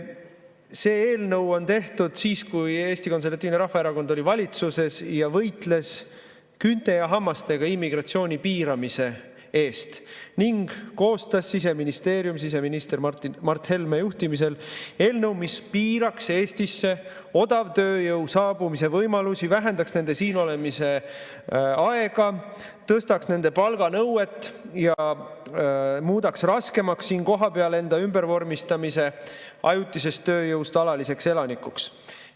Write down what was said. See eelnõu on tehtud siis, kui Eesti Konservatiivne Rahvaerakond oli valitsuses ja võitles küünte ja hammastega immigratsiooni piiramise eest ning Siseministeerium koostas siseminister Mart Helme juhtimisel eelnõu, mis piiraks Eestisse odavtööjõu saabumise võimalusi, vähendaks nende siinolemise aega, tõstaks nende palganõuet ja muudaks raskemaks enda ümbervormistamise ajutisest tööjõust alaliseks elanikuks.